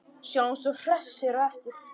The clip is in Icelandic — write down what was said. Sjáumst svo hressir á eftir.